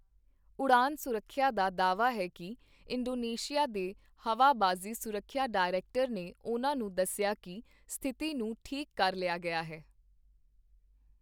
ਉਡਾਣ ਸੁਰੱਖਿਆ ਦਾ ਦਾਅਵਾ ਹੈ ਕਿ ਇੰਡੋਨੇਸ਼ੀਆ ਦੇ ਹਵਾਬਾਜ਼ੀ ਸੁਰੱਖਿਆ ਡਾਇਰੈਕਟਰ ਨੇ ਉਨ੍ਹਾਂ ਨੂੰ ਦੱਸਿਆ ਕਿ ਸਥਿਤੀ ਨੂੰ ਠੀਕ ਕਰ ਲਿਆ ਗਿਆ ਹੈ।